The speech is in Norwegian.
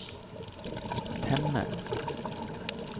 temme